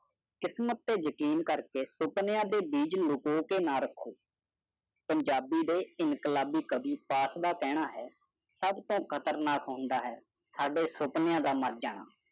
ਕਿਸਮਤ ਤੇ ਯਕੀਨ ਕਰ ਕੇ ਸਪਨਿਆ ਦੀ ਬੀਚ ਦਾਪੋ ਕੇ ਨਾ ਰਾਖੋ ਪੰਜਾਬੀ ਦਿਵਸ ਇੰਕਾਬਲੀ ਪਾਕ ਦਾ ਕਹੜਾ ਹਾ ਸਭ ਕੁਝ ਖਤਰਨਾਕ ਹੌਂਡਾ ਹੈ ਜੋ ਸਿਰਫ ਸੁਪਰ ਦਾ ਮਾਰ ਹਨ